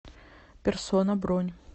персона бронь